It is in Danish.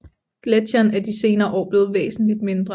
Gletsjeren er de senere år blevet væsentligt mindre